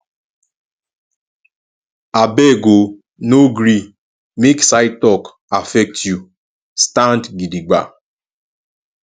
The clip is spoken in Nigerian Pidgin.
abeg o no gree make side talk affect you stand gidigba